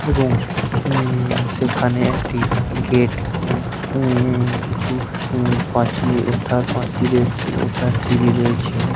এবং উ-ম-ম সেখানে একটি গেট ও উ -ম-ম কিছুপ্রাচীওঠা প্রাচীরে ওঠার সিড়ি রয়েছে ।